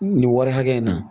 Nin wari hakɛ in na